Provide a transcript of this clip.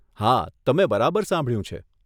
હા, તમે બરાબર સાંભળ્યું છે.